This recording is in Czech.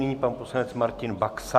Nyní pan poslanec Martin Baxa.